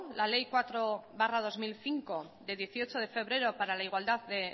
la ley cuatro barra dos mil cinco de dieciocho de febrero para la igualdad de